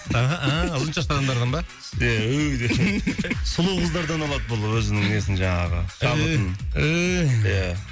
аха ыыы ұзын шашты адамдардан ба ия сұлу қыздардан алады бұл өзінің несін жаңағы шабытын ия